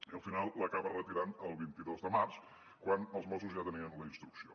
i al final l’acaba retirant el vint dos de març quan els mossos ja tenien la instrucció